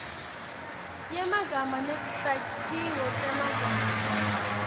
yemagama netakhiwo temagama